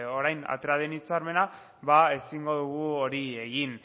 orain atera den hitzarmena ezingo dugu hori egin